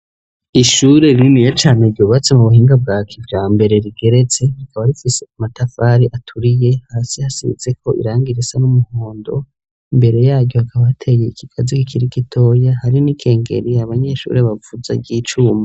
Ishuri ririniya cane ryubatse mu buhinga bwa kijambere rigeretse rikaba rifise ku matafari aturiye hasi hasizeko irangi risa n'umuhondo mbere yaryo hakaba hateye ikigazi kikiri gitoya hari n'ikengeri abanyeshuri bavuza ry'icuma.